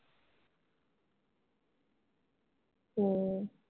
हम्म